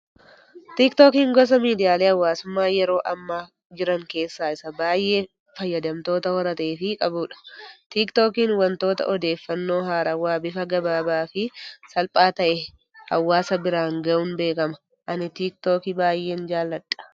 Tiktookiin gosa miidiyaalee hawaasummaa yeroo ammaa jiran keessaa isa baayyee fayyadamtoota horatee fi qabudha. Tiktookiin waantota odeeffannoo haarawaa bifa gabaabaa fi salphaa ta'e hawaasa biraan gahuun beekama. Ani tiktookii baayyeen jaalladha.